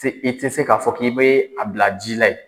i tɛ se k'a fɔ k'i bɛ a bila ji la yen.